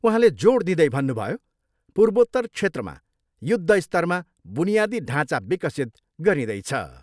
उहाँले जोड दिँदै भन्नुभयो, पूर्वोत्तर क्षेत्रमा युद्ध स्तरमा बुनियादी ढाँचा विकसित गरिँदैछ।